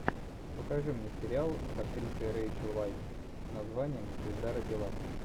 покажи мне сериал с актрисой рейчел вайс с названием звезда родилась